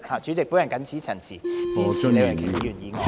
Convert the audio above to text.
主席，我謹此陳辭，支持李慧琼議員的議案。